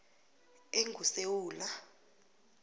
engusewula